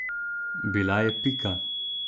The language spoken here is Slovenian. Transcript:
Bila je Pika.